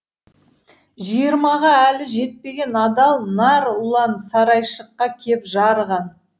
жиырмаға әлі жетпеген адал нар ұлан сарайшыққа кеп жарыған